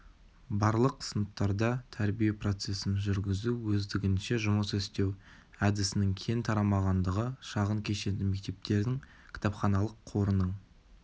барлық сыныптарда тәрбие процесін жүргізу өздігінше жұмыс істеу әдісінің кең тарамағандығы шағын кешенді мектептердің кітапханалық қорының